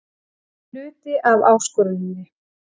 Það er hluti af áskoruninni.